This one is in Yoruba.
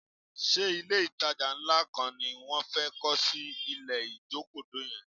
Ṣé ilé-ìtajà ńlá kọ́ ni wọ́n fẹ́ kọ́ sí ilẹ̀ Ìjokòdó yẹn?